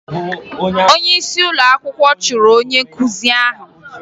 Onyeisi ụlọakwụkwọ chụrụ onye nkụzi ahụ